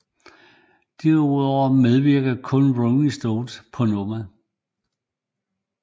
Derudover medvirkede kun The Rolling Stones på nummeret